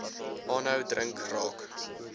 aanhou drink raak